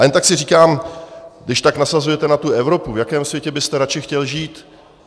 A jen tak si říkám, když tak nasazujete na tu Evropu, v jakém světě byste radši chtěl žít.